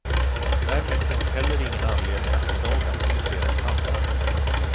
Därmed finns heller ingen anledning att idag aktualisera en samordning.